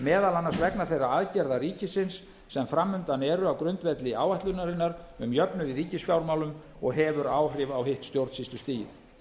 meðal annars vegna þeirra aðgerða ríkisins sem fram undan eru á grundvelli áætlunarinnar um jöfnuð í ríkisfjármálum og hefur áhrif á hitt stjórnsýslustigið